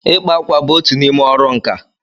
ịkpa ákwà bụ otu n'ime ọrụ nka.